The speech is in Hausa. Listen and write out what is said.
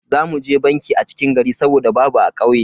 Za mu je banki a cikin gari saboda babu a kauye.